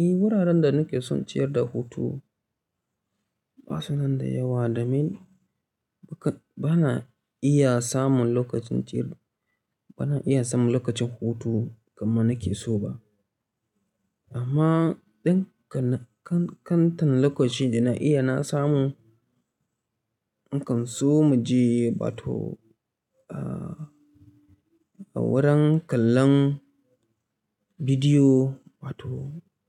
Eh wuraren da nake son ciyar da hutu ba su nan da yawa domin ba na iya samun lokacin ciyar-- ba na iya samun lokacin hutu kamar nake so ba. Amma ɗan kan-kan-kantan lokacin da na iya na samu, nakan so mu je wato, ah, wurin kallon bidiyo wato